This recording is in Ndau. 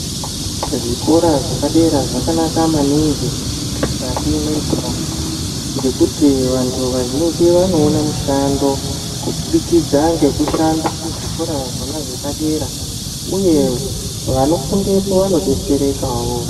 Zvikora zvepadera zvakanaka maningi mukati mwendaraunda, ngekuti vantu vazhinji vanoona mishando kubudikidza ngekushanda kwezvikora zvona zvepadera ,uye vanofundepo vanodetsere kawo.